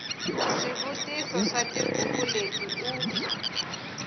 swivutiso swa tibuku leti u